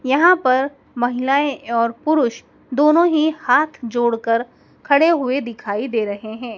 यहां पर महिलाएं और पुरुष दोनों ही हाथ जोड़ कर खड़े हुए दिखाई दे रहे हैं।